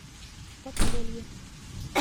подполье